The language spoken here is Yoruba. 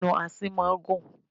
Ẹnu asín máa ń gùn.